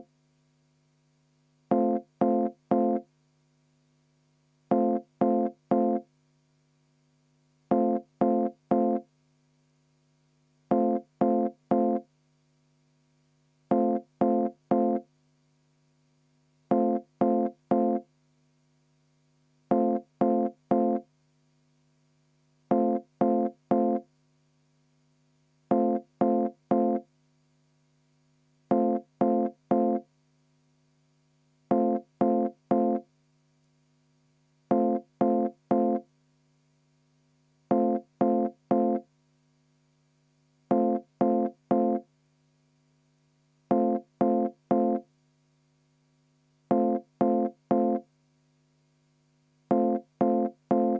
V a h e a e g